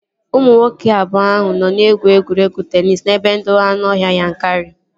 Ụmụ nwoke abụọ ahụ nọ na-egwu egwuregwu teenis n'ebe ndobe anụọhịa Yankari